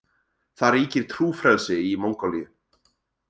Það ríkir trúfrelsi í Mongólíu.